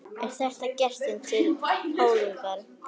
Er þetta gert þeim til háðungar?